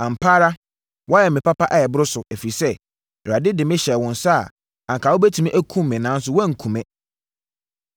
Ampa ara woayɛ me papa a ɛboro so, ɛfiri sɛ Awurade de me hyɛɛ wo nsa a, anka wobɛtumi akum me nanso woanku me.